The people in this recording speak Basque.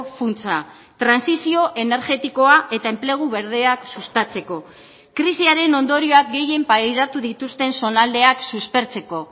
funtsa trantsizio energetikoa eta enplegu berdeak sustatzeko krisiaren ondorioak gehien pairatu dituzten zonaldeak suspertzeko